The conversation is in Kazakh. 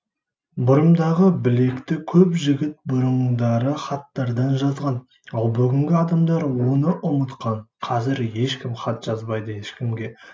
бұрымдағы білекті көп жігіт бұрындары хаттардан жазған ал бүгінгі адамдар оны ұмытқан қазір ешкім хат жазбайды ешкімге